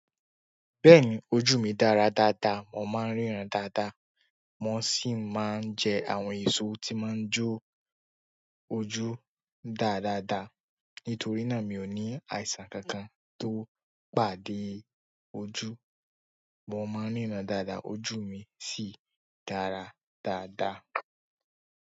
Bẹ́ẹ̀ni ojú mi dára dáadáa, mo máa ń ríran dáadáa, mo sì máa ń jẹ àwọn èso tí máa ń jó ojú dá dáadáa. Nítorí náà mi ò ní àìsàn kankan tó pàdé ojú. Mo máa ń ríran dáadáa, ojú mi sì dára dáadáa.